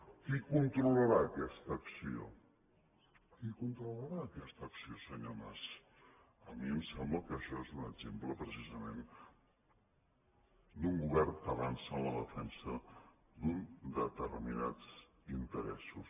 qui controlarà aquesta acció qui controlarà aquesta acció senyor mas a mi em sembla que això és un exemple precisament d’un govern que avança en la defensa d’uns determinats interessos